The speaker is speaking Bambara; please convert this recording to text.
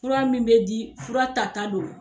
Fura min bɛ di fura tata do.